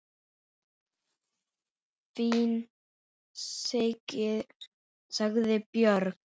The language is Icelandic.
Fínt, sagði Björn.